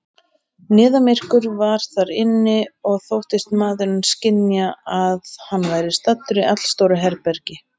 Niðamyrkur var þar inni, og þóttist maðurinn skynja, að hann væri staddur í allstóru herbergi.